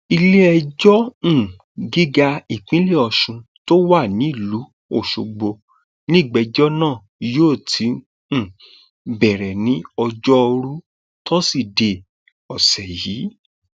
iléẹjọ um gíga ìpínlẹ ọsùn tó wà nílùú ọṣọgbó nígbẹjọ náà yóò ti um bẹrẹ ní ọjọrùú tọsídẹẹ ọsẹ yìí